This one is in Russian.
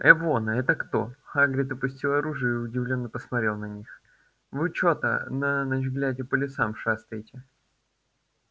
эвона это кто хагрид опустил оружие и удивлённо посмотрел на них вы чой-то на ночь глядя по лесам шастаете